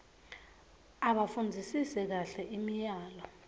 abafundzisise kahle imiyalo